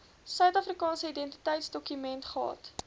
suidafrikaanse identiteitsdokument gehad